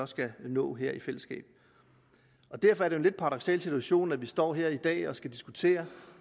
skal nå her i fællesskab derfor er det en lidt paradoksal situation at vi står her i dag og skal diskutere